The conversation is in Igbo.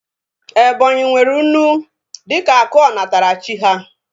Ebonyi nwere unu dịka akụ onatarachi ha